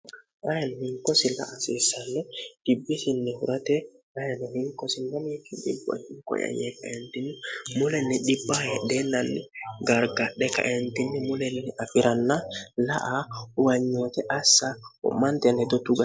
ayini minko silla asiissanne dibbisinni hurate in minko imoy kaentinni mulenni dhibahedheenalli gargadhe kaentinni mulennni afi'ranna la a uwanyoote assa hu'manteen hedo tuga